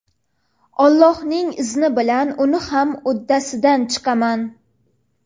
Allohning izni bilan uni ham uddasidan chiqaman.